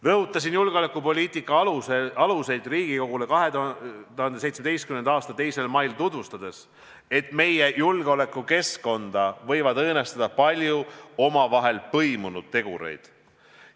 Rõhutasin julgeolekupoliitika aluseid Riigikogule 2017. aasta 2. mail tutvustades, et meie julgeolekukeskkonda võivad õõnestada paljud omavahel põimunud tegurid.